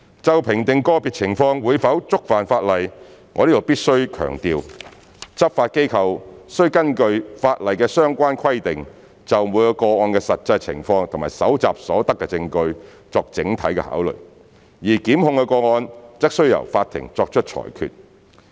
就評定個別情況會否觸犯法例，我在此必須強調，執法機構須根據法例的相關規定，就每個個案的實際情況及搜集所得的證據作整體考慮，而檢控個案則須由法庭作出裁決。